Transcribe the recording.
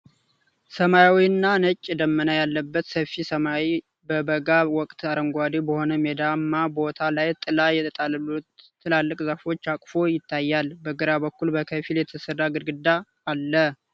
ሰማያዊና ነጭ ደመና ያለበት ሰፊ ሰማይ በበጋ ወቅት አረንጓዴ በሆነ ሜዳማ ቦታ ላይ ጥላ የጣሉ ትላልቅ ዛፎች አቅፎ ይታያል፤ በግራ በኩል በከፊል የተሰራ ግድግዳም አለ።